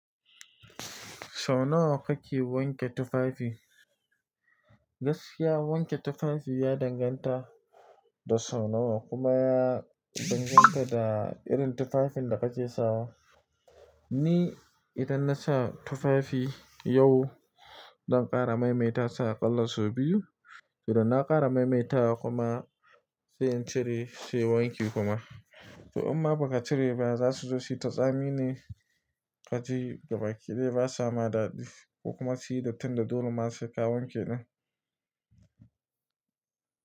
Sau nawa ka ke wanke tufafi. Gaskiya wanke tufafi ya danganta da Sau nawa kuma ya danganta da irin tufafin da ka ke sawa. Ni idan na sa tufafi yau, zan ƙara maimaita sa ƙalla sau biyu. To, idan na ƙara maimaita wa kuma sai in cire sai wanki kuma. To in ma ba ka cire ba za su zo su yi ta tsamine kaji gabaki ɗaya ba sama daɗi. Kuma su yi datti da dole ma sai ka wanke ɗin.